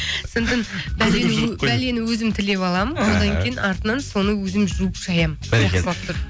сондықтан бәлені өзім тілеп аламын іхі одан кейін артынан соны өзім жуып шаямын бәрекелді